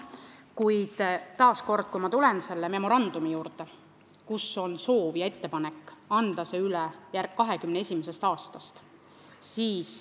Kuid taas kord tulen ma selle memorandumi juurde, kus on soov ja ettepanek anda see üle 2021. aastast.